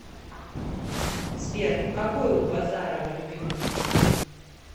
сбер какой у базарова любимый фильм